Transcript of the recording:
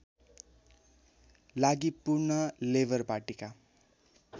लागि पुनः लेबर पार्टीका